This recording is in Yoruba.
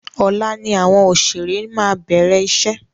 Ọ̀la ni àwọn òṣèré máa bẹ̀rẹ̀ iṣẹ́.